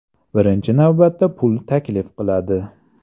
Birinchi navbatda pul taklif qiladi.